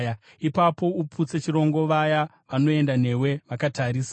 “Ipapo uputse chirongo vaya vanoenda newe vakatarisa,